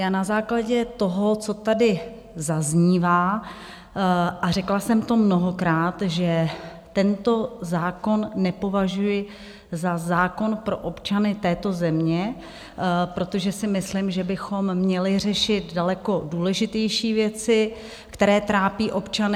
Já na základě toho, co tady zaznívá, a řekla jsem to mnohokrát, že tento zákon nepovažuji za zákon pro občany této země, protože si myslím, že bychom měli řešit daleko důležitější věci, které trápí občany.